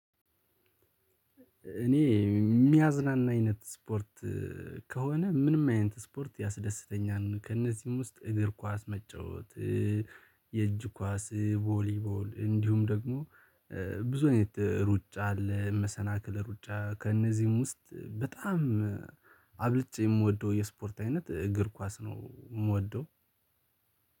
እኔ የሚያዝናና አይነት ስፖርት ከሆነ ምንም አይነት ስፖርት ያስደስተኛል ከእነዚህም ውስጥ እግር ኳስ መጫወት። የእጅ ኳስ፣ ቮሊቦል እንዲሁም ደግሞ ብዙ አይነት ሩጫ አለ፣ መሰናክል ሩጫ፣ ከእነዚህም ውስጥ በጣም አብልጬ የምወደው የስፖርት አይነት እግር ኳስ ነው የምወደው።